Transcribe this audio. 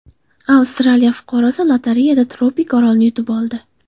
Avstraliya fuqarosi lotereyada tropik orolni yutib oldi.